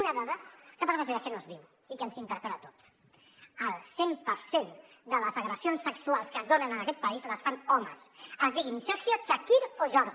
una dada que per desgràcia no es diu i que ens interpel·la a tots el cent per cent de les agressions sexuals que es donen en aquest país les fan homes es diguin sergio chakir o jordi